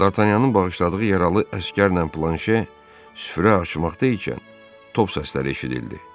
Dartanyanın bağışladığı yaralı əsgərlə Planşer süfrə açmaqda ikən top səsləri eşidildi.